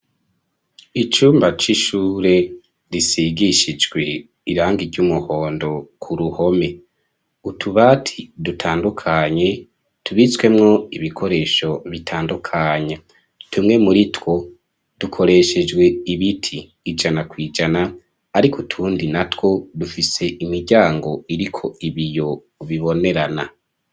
Icumba c'ishure risigishijwe irangi ry'umuhondo ku ruhome, utubati dutandukanye tubitswemwo ibikoresho bitandukanya tumwe muri two dukoreshejwe ibiti ijana kwijana ariko tundi na two dufise imiryango iriko ibiyo bibonerana.